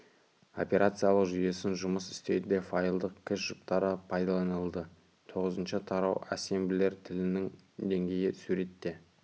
операциялық жүйесін жұмыс істеуде файлдық кэш жұптары пайдаланылды тоғызыншы тарау ассемблер тілінің деңгейі суретте